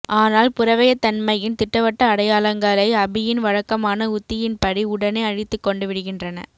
ஆனால் புறவயத்தன்மையின் திட்டவட்ட அடையாளங்களை அபியின் வழக்கமான உத்தியின்படி உடனேஅழித்துக்கொண்டு விடுகின்றன